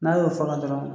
N'a y'o fɔga dɔrɔn